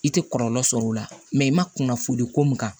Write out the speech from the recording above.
I tɛ kɔlɔlɔ sɔrɔ o la i ma kunnafoni ko mun kan